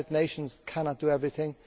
The United Nations cannot do everything.